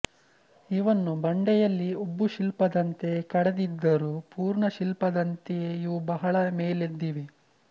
ಇವನ್ನು ಬಂಡೆಯಲ್ಲಿ ಉಬ್ಬುಶಿಲ್ಪದಂತೆ ಕಡೆದಿದ್ದರೂ ಪೂರ್ಣ ಶಿಲ್ಪದಂತೆಯೇ ಇವು ಬಹಳ ಮೇಲೆದ್ದಿವೆ